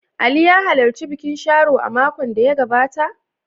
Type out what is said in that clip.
Ali ya halarci bikin Sharo a makon da ya gabata?